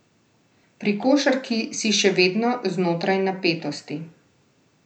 Pri košarki si še vedno znotraj napetosti.